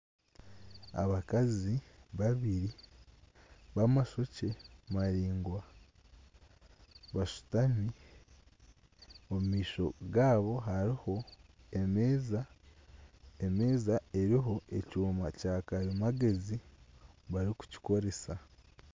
Abakazi babiri bamashokye maraingwa bashutami. Omu maisho gaabo hariho emeeza. Emeeza eriho ekyuma kya karimagyezi.